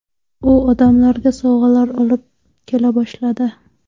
U odamlarga sovg‘alar olib kela boshladi.